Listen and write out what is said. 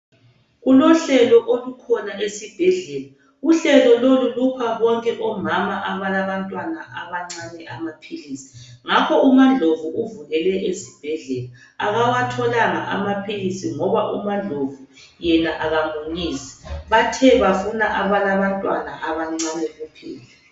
Kulohlelo olukhona esibhedlela. Uhlelo lolu lupha bonke omama abalabantwana abancane amaphilisi. Ngakho umaNdlovu uvukele esibhendlela. Abawatholanga amaphilisi ngoba umaNdlovu yena akamunyisi bathe bafuna abalabantwana abancane kuphela.